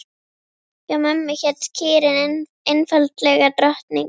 Hjá mömmu hét kýrin einfaldlega Drottning.